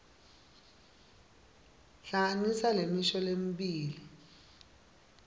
hlanganisa lemisho lemibili